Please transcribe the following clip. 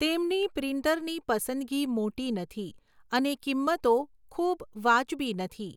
તેમની પ્રિન્ટરની પસંદગી મોટી નથી અને કિંમતો ખૂબ વાજબી નથી.